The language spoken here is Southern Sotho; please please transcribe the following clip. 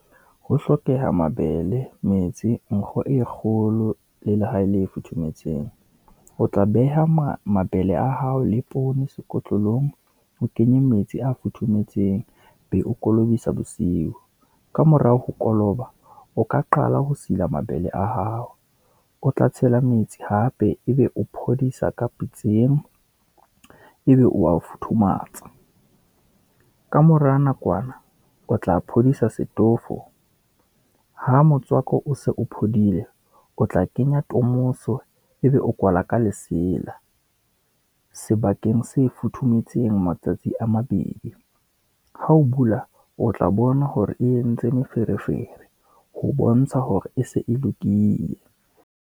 Ho hlokeha mabele, metsi, nkgo e kgolo, le lehae le futhumetseng, o tla beha mabele a hao le poone sekotlolong, o kenye metsi a futhumetseng, be o kolobe tsa bosiu. Ka mora ho koloba o ka qala ho sila mabele a hao, o tla tshela metsi hape, ebe o phodisa ka pitseng, ebe o wa o futhumatsa. Ka mora nakwana, o tla phodisa setofo, ha motswako o se o phodile o tla kenya tomoso ebe o kwala ka lesela, sebakeng se futhumetseng matsatsi a mabedi. Ha o bula, o tla bona hore ye entse meferefere ho bontsha hore e se e lokile.